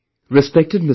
Respected Mr